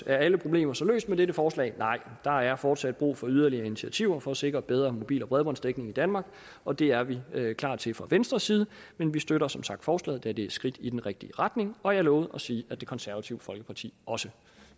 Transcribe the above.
er alle problemer så løst med dette forslag nej der er fortsat brug for yderligere initiativer for at sikre bedre mobil og bredbåndsdækning i danmark og det er vi klar til fra venstres side men vi støtter som sagt forslaget da det er et skridt i den rigtige retning og jeg lovede at sige at det konservative folkeparti også